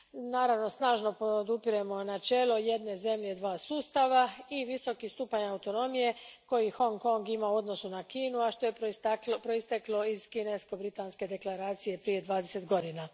Naravno, snažno podupiremo načelo jedne zemlje dva sustava, i viskoki stupanj autonomije koji Hong Kong ima u odnosu na Kinu, a što je proisteklo iz kinesko britanske deklaracije prije dvadeset godina.